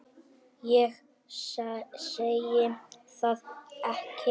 Ég segi það ekki.